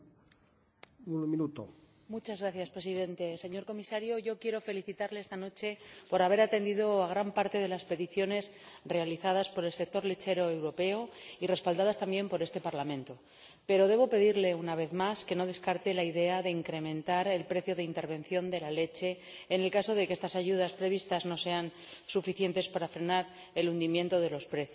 Señor Presidente, señor Comisario, yo quiero felicitarle esta noche por haber atendido a gran parte de las peticiones realizadas por el sector lechero europeo y respaldadas también por este Parlamento, pero debo pedirle, una vez más, que no descarte la idea de incrementar el precio de intervención de la leche, en el caso de que estas ayudas previstas no sean suficientes para frenar el hundimiento de los precios.